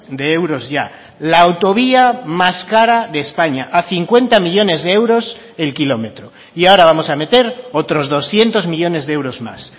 de euros ya la autovía más cara de españa a cincuenta millónes de euros el kilómetro y ahora vamos a meter otros doscientos millónes de euros más